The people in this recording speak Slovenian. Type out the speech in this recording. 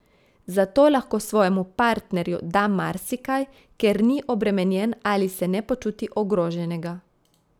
Zato lahko svojemu partnerju da marsikaj, ker ni obremenjen ali se ne počuti ogroženega.